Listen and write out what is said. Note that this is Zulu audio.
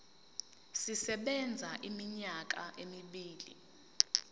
sisebenza iminyaka emibili